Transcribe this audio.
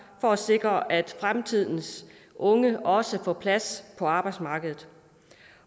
for at sikre at fremtidens unge også får plads på arbejdsmarkedet